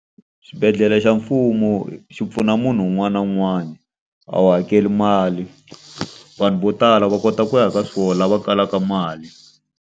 Xibedhlele xa mfumo xi pfuna munhu un'wana na un'wana, a wu hakeli mali. Vanhu vo tala va kota ku ya ka swona lava kalaka mali.